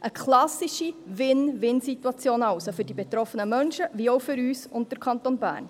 Eine klassische Win-win-Situation also für die betroffenen Menschen, wie auch für uns und für den Kanton Bern.